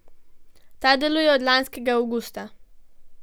Ta deluje od lanskega avgusta.